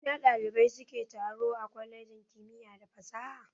A ina ɗalibai suke taro a kwalejin kimiya da fasaha.